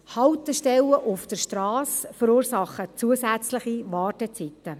Haltestellen auf der Strasse verursachen zusätzliche Wartezeiten.